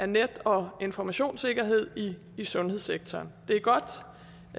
net og informationssikkerhed i sundhedssektoren det er godt